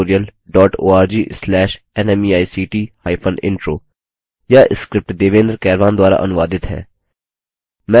spoken hyphen tutorial dot org slash nmeict hyphen intro